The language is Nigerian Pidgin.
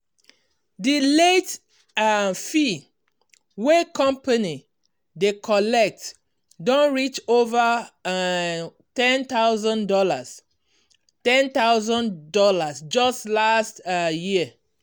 di late um fee wey company dey collect don reach over um ten thousand dollars ten thousand dollars just last um year.